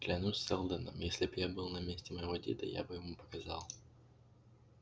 клянусь сэлдоном если б я был на месте моего деда я бы ему показал